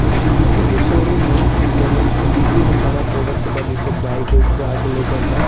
ई सुजकी के शोरूम ह जेमे सुजकी के सारा प्रोडक्ट बा जैसे बाइक उक बा आगे लउकता।